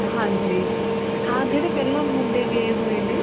ਹਾਂਜੀ ਹਾਂ ਜਿਹੜੇ ਪਹਿਲਾਂ ਮੁੰਡੇ ਗਏ ਹੋਏ ਨੇ